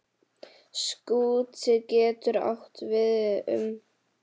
Skúti getur átt við um